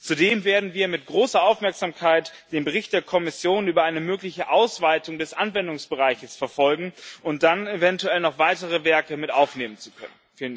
Zudem werden wir mit großer Aufmerksamkeit den Bericht der Kommission über eine mögliche Ausweitung des Anwendungsbereichs verfolgen, um dann eventuell noch weitere Werke mit aufnehmen zu können.